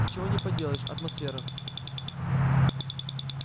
ничего не поделаешь атмосфера